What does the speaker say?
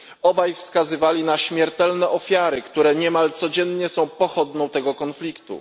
Obaj wskazywali na śmiertelne ofiary, które niemal codziennie są pochodną tego konfliktu.